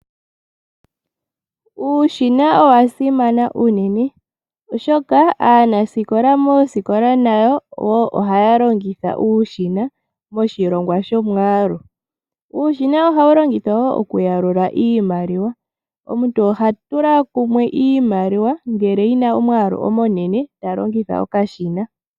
Uushina owa simana unene oshoka aanasikola moosikola nayo ohaya longitha uushina moshilongwa shomwaalu. Uushina ohawu longithwa kaanangeshefa moku yalula iimaliwa. Omuntu oha tula kumwe iimaliwa ngele yina omwaalu omunene oha longitha okashina.